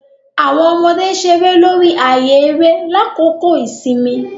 Awọn ọmọde ṣere lori ààyè eré lakoko ìsinmi.